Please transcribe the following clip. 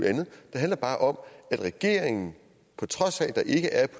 handler bare om at regeringen på trods af at der ikke er